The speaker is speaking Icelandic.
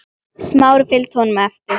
Smári fylgdi honum eftir.